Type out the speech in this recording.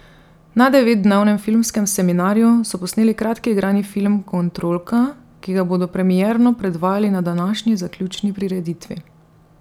Na devetdnevnem filmskem seminarju so posneli kratki igrani film Kontrolka, ki ga bodo premierno predvajali na današnji zaključni prireditvi.